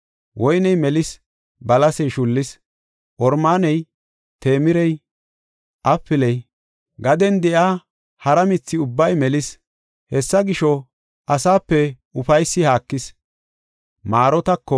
Woyney melis; balasey shullis; oromaaney, temirey, apiley, gaden de7iya hara mithi ubbay melis; hessa gisho, asape ufaysi haakis.